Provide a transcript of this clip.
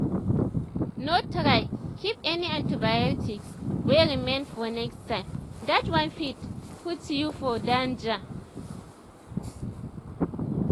no try keep any antibiotics wey remain for next time that one fit put you for danger.